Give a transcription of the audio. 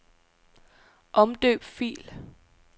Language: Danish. Omdøb fil.